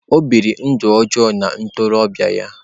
O biri ndụ ọjọọ n'oge ntorobịa ya.